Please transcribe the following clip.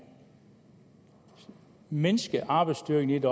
mindsket arbejdsstyrken i det